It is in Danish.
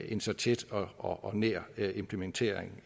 en så tæt og nær implementering